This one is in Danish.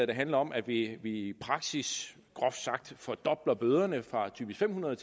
der handler om at vi vi i praksis groft sagt fordobler bøderne fra typisk fem hundrede